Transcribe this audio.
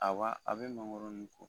Awa a bɛ mangoro nun ko.